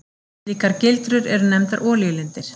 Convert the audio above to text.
Slíkar gildrur eru nefndar olíulindir.